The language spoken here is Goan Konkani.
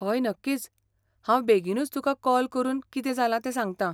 हय, नक्कीच, हांव बेगीनूच तुका कॉल करून कितें जालां तें सांगतां.